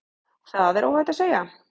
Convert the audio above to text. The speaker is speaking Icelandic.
Það er óhætt að segja.